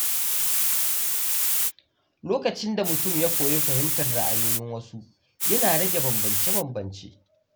Lokacin da mutum ya koyi fahimtar ra’ayoyin wasu, yana rage bambance-bambance.